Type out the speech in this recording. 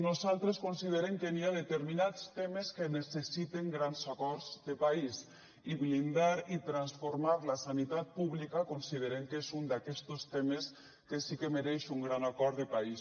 nosaltres considerem que hi ha determinats temes que necessiten grans acords de país i blindar i transformar la sanitat pública considerem que és un d’aquestos temes que sí que mereix un gran acord de país